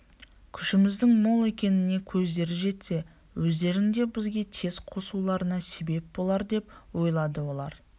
күшіміздің мол екеніне көздері жетсе өздерінің де бізге тез қосылуларына себеп болардеп ойлады олар